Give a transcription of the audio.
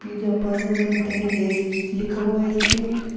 Pizza पाजा मिलते लेस लिखा हुआ है इस पे।